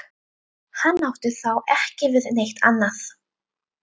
Hann átti þá ekki við neitt annað.